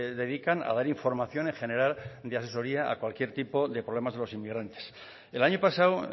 dedican a dar información en general de asesoría a cualquier tipo de problemas en los inmigrantes el año pasado